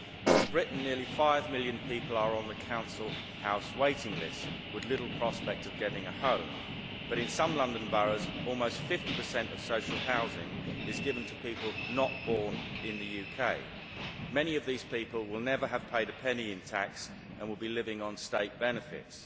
In Britain nearly five million people are on the council house waiting list, with little prospect of getting a home, but in some London boroughs almost 50 of social housing is given to people not born in the UK. Many of these people will never have paid a penny in tax and will be living on state benefits.